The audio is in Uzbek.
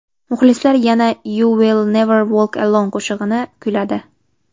Muxlislar yana You’ll Never Walk Alone qo‘shig‘ini kuyladi.